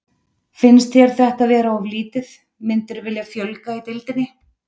Finnst þér þetta vera of lítið, myndirðu vilja fjölga í deildinni?